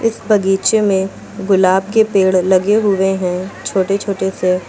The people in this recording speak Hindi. इस बगीचे में गुलाब के पेड़ लगे हुए हैं छोटे छोटे से।